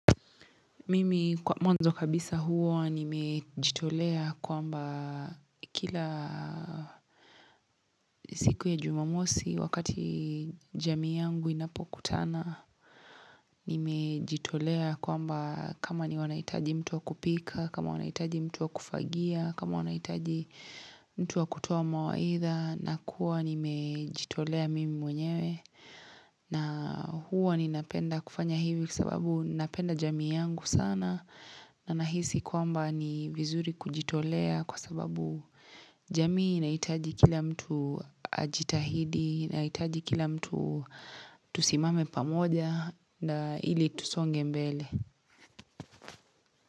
Mimi kwa mwanzo kabisa huwa nimejitolea kwamba kila siku ya jumamosi wakati jamii yangu inapokutana Nimejitolea kwamba kama ni wanahitaji mtu wa kupika, kama wanahitaji mtu wa kufagia, kama wanahitaji mtu wa kutoa mawaidha nakuwa nimejitolea mimi mwenyewe na huwa ninapenda kufanya hivi sababu napenda jamii yangu sana na nahisi kwamba ni vizuri kujitolea kwa sababu jamii inahitaji kila mtu ajitahidi, inahitaji kila mtu tusimame pamoja na ili tusonge mbele.